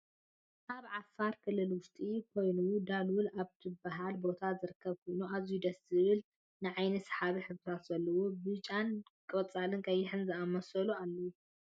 ኣብ ዓፋር ክልልውሽጢ ካይኑ ዳሉል ኣብ ትብሃል ቦታ ዝርከብ ኮይኑ ኣዝዩ ደስ ዝብልን ንዓይንካ ስሓብን ሕብርታት ዘለዎ ኮይኑ ብጫን ቆፃልን ቀይሕን ዝኣመሳሰሉ ኣለው።